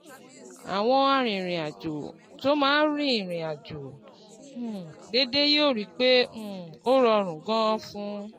Àwọn arìnrìn-àjò tó máa ń rìnrìn àjò um déédéé yóò rí i pé um ó rọrùn gan-an fún